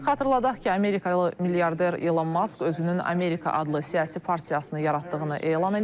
Xatırladaq ki, amerikalı milyarder Elon Mask özünün Amerika adlı siyasi partiyasını yaratdığını elan eləyib.